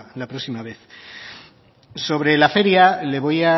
la próxima vez sobre la feria le voy